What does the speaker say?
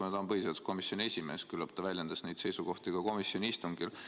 Kuna ta on põhiseaduskomisjoni esimees, siis küllap ta väljendas neid seisukohti ka komisjoni istungil.